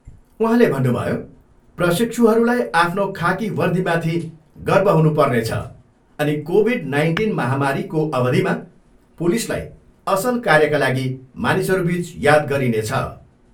उहाँले भन्नुभयो, प्रशिक्षुहरूलाई आफ्नो खाकी वर्दीमाथि गर्व हुनु पर्नेछ अनि कोभिड नाइन्टिन महामारीको अवधिमा पुलिसलाई असल कार्यका लागि मानिसहरूबिच याद गरिनेछ।